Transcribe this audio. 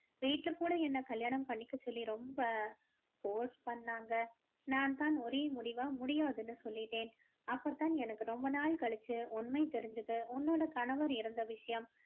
வீட்டுல கூட என்ன கல்யாணம் பண்ணிக்க சொல்லி ரொம்ப force பண்ணாங்க நான் தான் ஒரே முடிவா முடியாதுன்னு சொல்லிட்டேன் அப்போ தான் எனக்கு ரொம்ப நாள் கழிச்சு உண்மை தெரிஞ்சுது உன்னோட கணவர் இறந்த விஷயம்